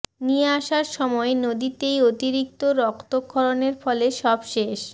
নিয়ে আসার সময় নদীতেই অতিরিক্ত রক্তক্ষরণের ফলে সব শেষ